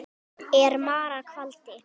er mara kvaldi.